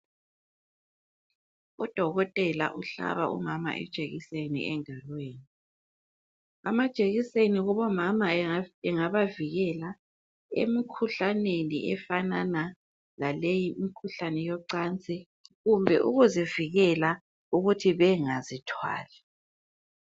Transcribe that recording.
Udokotela uhlaba umama ijekiseni engalweni. Amajekiseni kubomama engabavikela emikhuhlaneni efanana laleyi imikhuhlane yocansi kumbe ukuzivikela ukuthi bengazithwali.